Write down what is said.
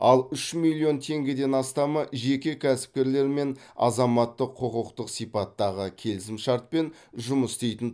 ал үш миллион теңгеден астамы жеке кәсіпкерлер мен азаматтық құқықтық сипаттағы келісімшартпен жұмыс істейтін